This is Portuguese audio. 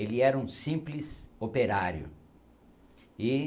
Ele era um simples operário e